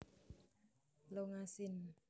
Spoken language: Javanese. longa sin